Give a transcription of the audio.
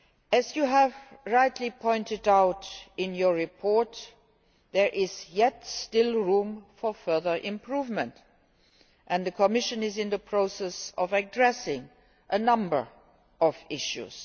As you have rightly pointed out in your report, there is room for still further improvement and the Commission is in the process of addressing a number of issues.